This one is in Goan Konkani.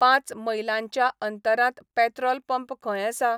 पांच मैलांच्या अंतरांत पेत्रोल पंप खंय आसा?